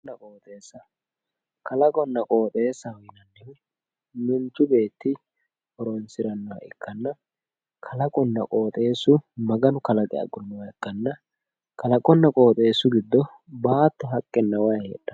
kalaqonna qoxeessa manchu beetti horonsirannoha ikkanna kalaqonna qoxeessa maganu kalaqino ikkanna kalaqunna qoxeessu giddo baatto haqqenna wayi no